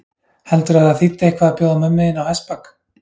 Heldurðu að það þýddi eitthvað að bjóða mömmu þinni á hestbak?